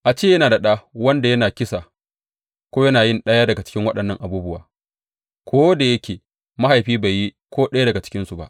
A ce yana da ɗa wanda yana kisa ko yana yin ɗaya daga cikin waɗannan abubuwa ko da yake mahaifin bai yi ko ɗaya daga cikinsu ba.